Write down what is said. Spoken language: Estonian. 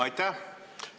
Aitäh!